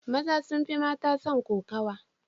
Maza sun fi mata son kokowa.